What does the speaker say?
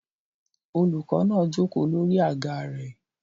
Olùkọ́ náà jókòó lórí àga rẹ̀